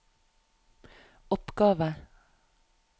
oppgave